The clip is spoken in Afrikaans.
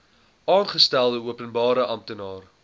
aangestelde openbare amptenaar